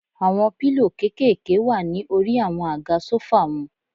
Àwọn pílò kékèèké wà ní orí àwọn àga sófà wọn.